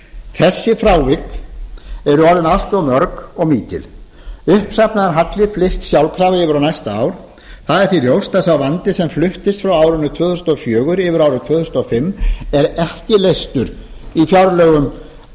þessi frávik eru orðin allt of mörg og mikil uppsafnaður halli flyst sjálfkrafa yfir á næsta ár það er því ljóst að sá vandi sem fluttist frá árinu tvö þúsund og fjögur yfir á árið tvö þúsund og fimm er ekki leystur í fjárlögum